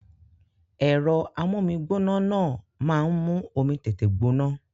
Èro amómigbóná náà ma n mú omi tètè gbóná